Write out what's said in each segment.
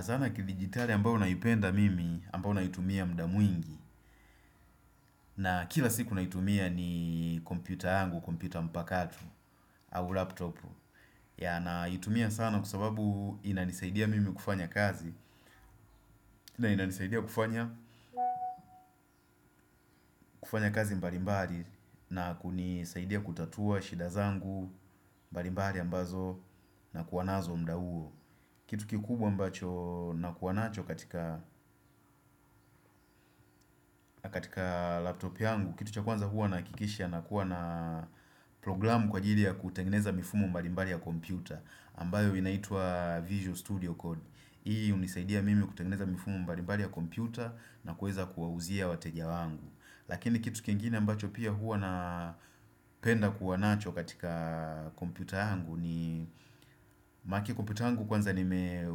Zana kivigitali ambao naipenda mimi ambao naitumia mda mwingi na kila siku naitumia ni kompyuta yangu, kompyuta mpakati au laptop naitumia sana kwa sababu inanisaidia mimi kufanya kazi na inanisaidia kufanya kufanya kazi mbalimbali na kunisaidia kutatua shida zangu mbalimbali ambazo nakuwa nazo mda huo Kitu kikubwa ambacho nakuwa nacho katika katika laptopi yangu Kitu cha kwanza huwa nahakikisha nakuwa na programu kwa ajili ya kutengeneza mifumo mbalimbali ya kompyuta ambayo inaitwa Visual Studio Code Hii hunisaidia mimi kutengeneza mifumo mbalimbali ya kompyuta na kuweza kuwauzia wateja wangu Lakini kitu kingini ambacho pia huwa na penda kuwanacho katika kompyuta angu ma kompyuta yangu kwanza nime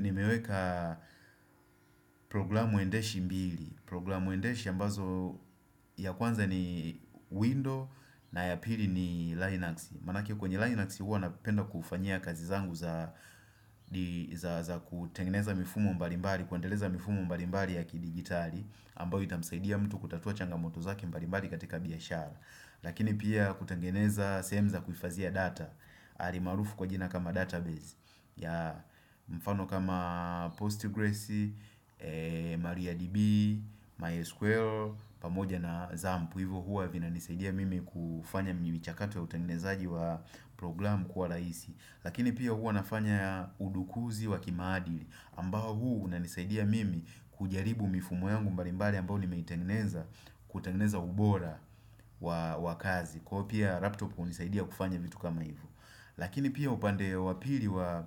nimeweka programu endeshi mbili Programu endeshi ambazo ya kwanza ni window na ya pili ni linux Maanake kwenye linux huwa napenda kufanya kazi zangu za za kutengeneza mifumo mbalimbali kuendeleza mifumo mbalimbali ya kidigitali ambao itamsaidia mtu kutatua changamoto zake mbalimbali katika biashara Lakini pia kutengeneza sehemu za kuhifazia data hali maarufu kwa jina kama data base ya mfano kama Postgres, MariaDB, MySQL pamoja na Zampu Hivo huwa vinanisaidia mimi kufanya mi michakato ya utengenezaji wa programu kwa rahisi Lakini pia huwa nafanya udukuzi wa kimaadili ambao huu unanisaidia mimi kujaribu mifumo yangu mbalimbai ambao nimeitengeneza kutengeneza ubora wa wa kazi Kwa pia laptop hunisaidia kufanya vitu kama hivo Lakini pia upande ya wa pili wa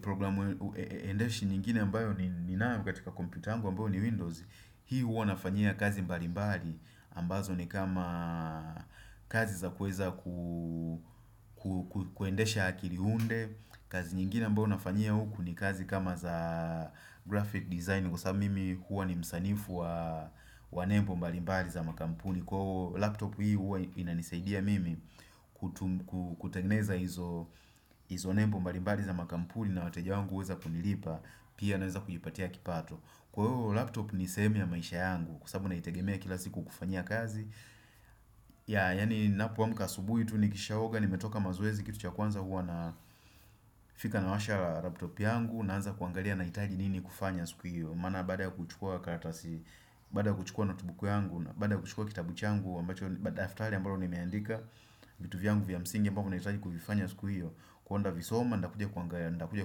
programu endeshi nyingine ambayo nininayo katika kompyuta yangu ambayo ni Windows Hii huwa nafanyia kazi mbali mbali ambazo ni kama kazi za kueza ku kuendesha akili hunde kazi nyingine ambayo nafanyia huku ni kazi kama za graphic design Kwa sababu mimi huwa ni msanifu wa wa nebo mbali mbali za makampuni Kwa huo laptop hii huwa inanisaidia mimi kutengeneza hizo hizo nembu mbalimbali za makampuni na wateja wangu huweza kunilipa Pia naweza kujipatia kipato Kwa hivo laptop ni sehemu ya maisha yangu kwa sababu naitegemea kila ziku kufanyia kazi yaani napoamka asubuhi tu nikishaoga nimetoka mazoezi kitu cha kwanza huwa nafika nawasha laptop yangu Naanza kuangalia nahitaji nini kufanya siku hiyo Maana baada ya kuchukua karatasi, baada ya kuchukua notebook yangu Baada kuchukua kitabu changu ambacho daftari ambalo nimeandika vitu vyangu vya msingi ambavyo nahitaji kuvifanya siku hiyo huwa kuvisoma ntakuja kuangaa ntakuja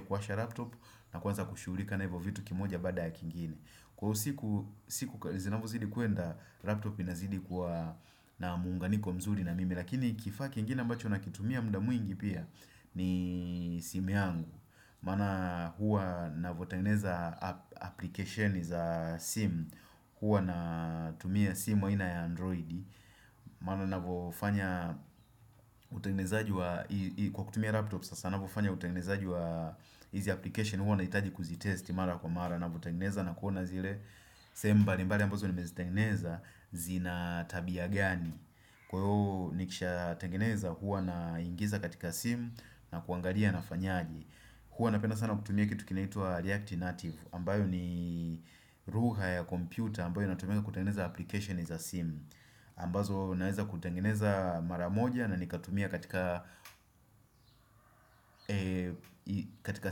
kuwasha laptop na kuanza kushughulika na hivo vitu kimoja baada ya kingine Kwa usiku Zinavyozidi kwenda laptop inazidi Kwa na muunganiko mzuri na mimi Lakini kifaa kiingine ambacho nakitumia mda mwingi pia ni simu yangu Maana huwa navotengeza app application za simu huwa natumia simu aina ya android maana navofanya utengenezaji wa kwa kutumia laptop sasa navofanya utengenezaji wa hizi application huwa nahitaji kuzitesti mara kwa mara navotangineza na kuona zile sehemu mbalimbali ambazo nimezitengeneza zina tabia gani kwa hiyo nikishatengeneza huwa naingiza katika simu na kuangalia nafanyaje huwa napenda sana kutumia kitu kinaitwa react ineartive ambayo ni lugha ya kompyuta ambayo inatumianga kutengeneza application za simu ambazo naeza kutengeneza mara moja na nikatumia katika katika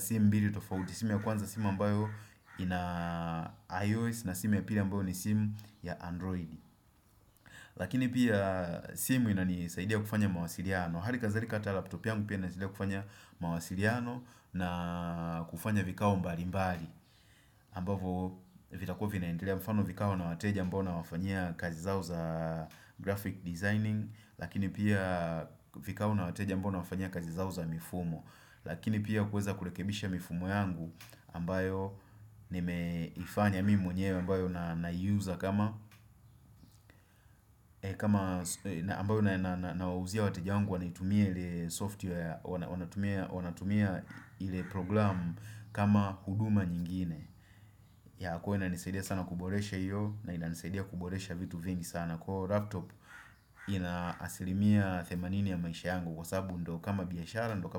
simu mbili simu ya kwanza simu ambayo ina IOS na simu ya pili ambayo ni simu ya Android lakini pia simu inanisaidia kufanya mawasiliano hali kadhalika hata laptop yangu pia inanisaidia kufanya mawasiliano na kufanya vikao mbali mbali ambavo vitakuwa vinaendelea mfano vikao na wateja ambao nawafanyia kazi zao za graphic designing lakini pia vikao na wateja ambao nawafanyia kazi zao za mifumo lakini pia kueza kurekebisha mifumo yangu ambayo nimeifanya mimi mwenyewe ambayo na naiuza kama kama ambayo na na nawauzia wateja wangu wanatumia ile software wana wanatumia ili program kama huduma nyingine huwa inanisaidia sana kuboresha Iyo na inanisaidia kuboresha vitu vingi sana kwa hivo laptop ina asilimia themanini ya maisha yangu kwa sababu ndo kama biashara ndo kama.